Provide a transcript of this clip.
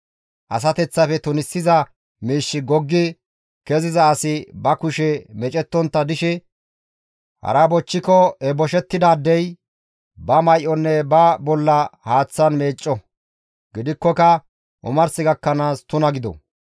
«Asateththafe tunisiza miishshi goggi keziza asi ba kushe meecettontta dishe hara bochchiko he boshettidaadey ba may7onne ba bolla haaththan meecco; gidikkoka omars gakkanaas tuna gido.